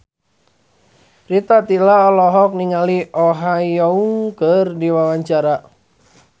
Rita Tila olohok ningali Oh Ha Young keur diwawancara